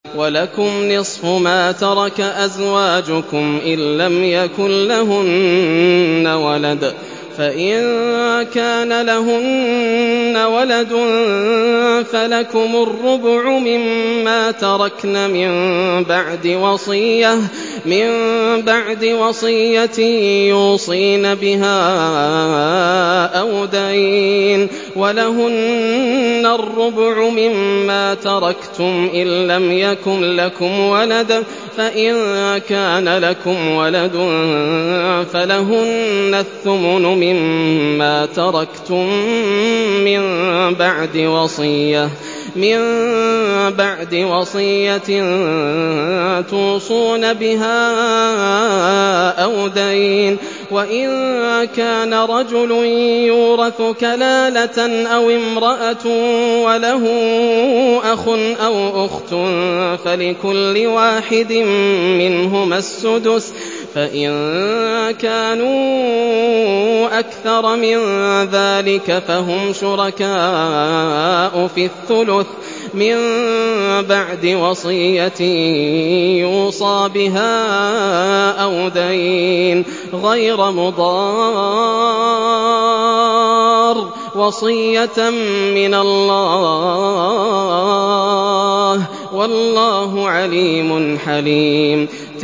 ۞ وَلَكُمْ نِصْفُ مَا تَرَكَ أَزْوَاجُكُمْ إِن لَّمْ يَكُن لَّهُنَّ وَلَدٌ ۚ فَإِن كَانَ لَهُنَّ وَلَدٌ فَلَكُمُ الرُّبُعُ مِمَّا تَرَكْنَ ۚ مِن بَعْدِ وَصِيَّةٍ يُوصِينَ بِهَا أَوْ دَيْنٍ ۚ وَلَهُنَّ الرُّبُعُ مِمَّا تَرَكْتُمْ إِن لَّمْ يَكُن لَّكُمْ وَلَدٌ ۚ فَإِن كَانَ لَكُمْ وَلَدٌ فَلَهُنَّ الثُّمُنُ مِمَّا تَرَكْتُم ۚ مِّن بَعْدِ وَصِيَّةٍ تُوصُونَ بِهَا أَوْ دَيْنٍ ۗ وَإِن كَانَ رَجُلٌ يُورَثُ كَلَالَةً أَوِ امْرَأَةٌ وَلَهُ أَخٌ أَوْ أُخْتٌ فَلِكُلِّ وَاحِدٍ مِّنْهُمَا السُّدُسُ ۚ فَإِن كَانُوا أَكْثَرَ مِن ذَٰلِكَ فَهُمْ شُرَكَاءُ فِي الثُّلُثِ ۚ مِن بَعْدِ وَصِيَّةٍ يُوصَىٰ بِهَا أَوْ دَيْنٍ غَيْرَ مُضَارٍّ ۚ وَصِيَّةً مِّنَ اللَّهِ ۗ وَاللَّهُ عَلِيمٌ حَلِيمٌ